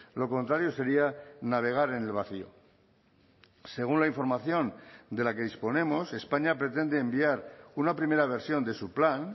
lo contrario sería navegar en el vacío según la información de la que disponemos españa pretende enviar una primera versión de su plan